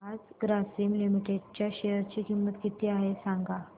आज ग्रासीम लिमिटेड च्या शेअर ची किंमत किती आहे सांगा